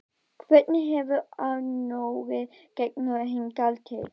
Hvernig hefur Arnóri gengið hingað til?